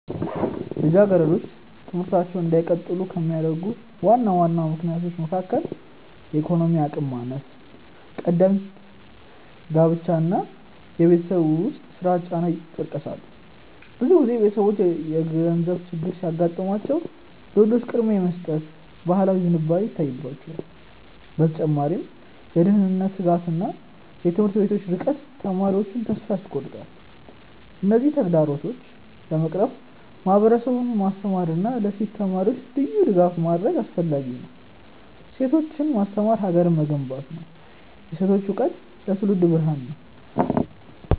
ልጃገረዶች ትምህርታቸውን እንዳይቀጥሉ ከሚያደርጉ ዋና ዋና ምክንያቶች መካከል የኢኮኖሚ አቅም ማነስ፣ ቀደምት ጋብቻ እና የቤት ውስጥ ስራ ጫና ይጠቀሳሉ። ብዙ ጊዜ ቤተሰቦች የገንዘብ ችግር ሲያጋጥማቸው ለወንዶች ቅድሚያ የመስጠት ባህላዊ ዝንባሌ ይታይባቸዋል። በተጨማሪም የደህንነት ስጋትና የትምህርት ቤቶች ርቀት ተማሪዎቹን ተስፋ ያስቆርጣል። እነዚህን ተግዳሮቶች ለመቅረፍ ማህበረሰቡን ማስተማርና ለሴት ተማሪዎች ልዩ ድጋፍ ማድረግ አስፈላጊ ነው። ሴቶችን ማስተማር ሀገርን መገንባት ነው። የሴቶች እውቀት ለትውልድ ብርሃን ነው።